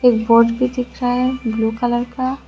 एक बोर्ड भी दिख रहा है ब्लू कलर का।